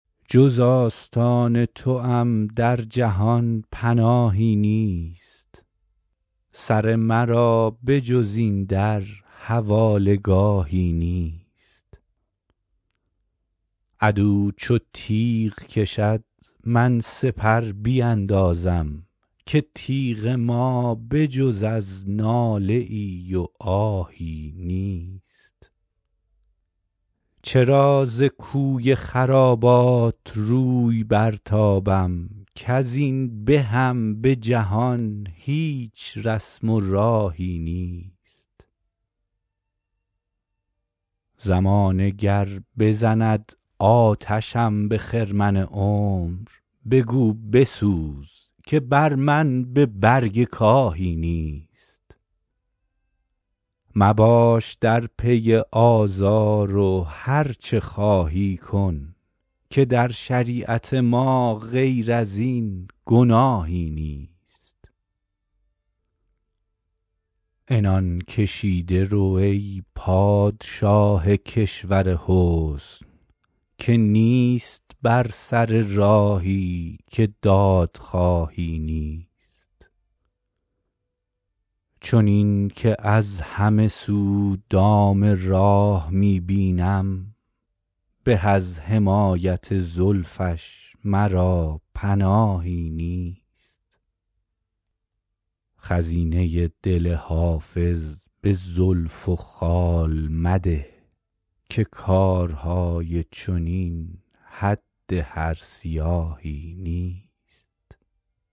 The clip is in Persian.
جز آستان توام در جهان پناهی نیست سر مرا به جز این در حواله گاهی نیست عدو چو تیغ کشد من سپر بیندازم که تیغ ما به جز از ناله ای و آهی نیست چرا ز کوی خرابات روی برتابم کز این بهم به جهان هیچ رسم و راهی نیست زمانه گر بزند آتشم به خرمن عمر بگو بسوز که بر من به برگ کاهی نیست غلام نرگس جماش آن سهی سروم که از شراب غرورش به کس نگاهی نیست مباش در پی آزار و هرچه خواهی کن که در شریعت ما غیر از این گناهی نیست عنان کشیده رو ای پادشاه کشور حسن که نیست بر سر راهی که دادخواهی نیست چنین که از همه سو دام راه می بینم به از حمایت زلفش مرا پناهی نیست خزینه دل حافظ به زلف و خال مده که کارهای چنین حد هر سیاهی نیست